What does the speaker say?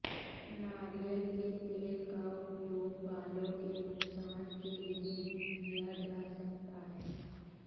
नारियल के तेल का उपयोग बालों के नुकसान के लिए भी किया जा सकता है